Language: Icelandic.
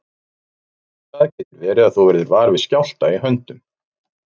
Fyrst í stað getur verið að þú verðir var við skjálfta í höndum.